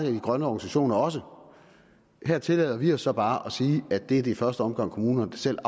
af de grønne organisationer også her tillader vi os så bare at sige at det er i første omgang kommunerne selv